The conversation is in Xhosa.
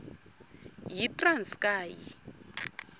yitranskayi